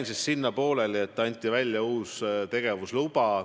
Ma jäin sinna pooleli, et anti välja uus tegevusluba.